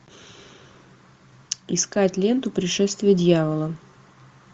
искать ленту пришествие дьявола